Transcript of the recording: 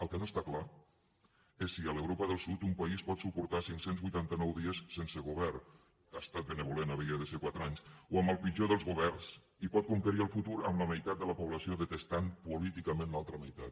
el que no està clar és si a l’europa del sud un país pot suportar cinc cents i vuitanta nou dies sense govern ha estat benèvol havia de ser quatre anys o amb el pitjor dels governs i pot conquerir el futur amb la meitat de la població detestant políticament l’altra meitat